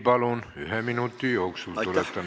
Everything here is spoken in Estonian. Palun küsige ühe minuti jooksul, tuletan meelde!